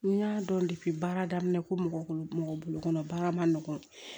N y'a dɔn baara daminɛ ko mɔgɔ bolo mɔgɔ bolo kɔnɔ baara ma nɔgɔn